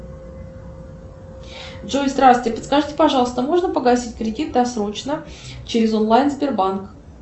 джой здравствуйте подскажите пожалуйста можно погасить кредит досрочно через онлайн сбербанк